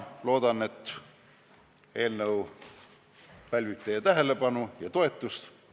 Loodan, et eelnõu pälvib teie tähelepanu ja toetust.